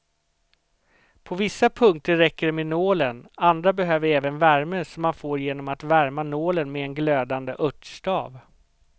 På vissa punkter räcker det med nålen, andra behöver även värme som man får genom att värma nålen med en glödande örtstav.